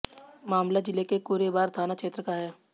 मामला जिले के कूरेभार थाना क्षेत्र का है